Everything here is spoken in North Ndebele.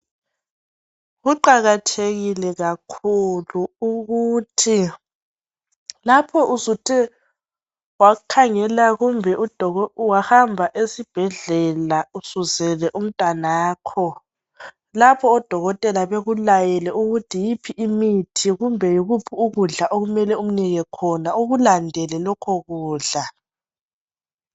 Kuqakathekile kakhulu ukuthi lapho usuthe wahamba esibhedlela usuzele umntwana wakho lapho odokotela bekulayele ukuthi yiphi imithi kumbe yikuphi ukudla okumele umnike khona ukulandele lokho kudla